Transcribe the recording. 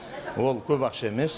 ол көп ақша емес